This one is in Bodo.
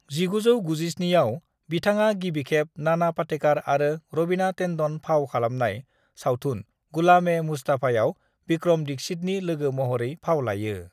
"1997 आव, बिथाङा गिबिखेब नाना पाटेकार आरो रवीना टेन्डन फाव खालामनाय सावथुन गुलाम-ए-मुस्तफाआव विक्रम दीक्षितनि लोगो महरै फाव लायो।"